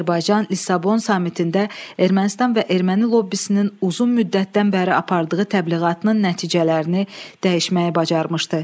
Azərbaycan Lissabon sammitində Ermənistan və erməni lobbisinin uzun müddətdən bəri apardığı təbliğatının nəticələrini dəyişməyi bacarmışdı.